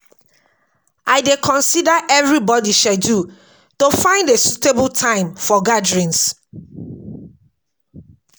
I dey consider everybody schedule to find a suitable time for gatherings. um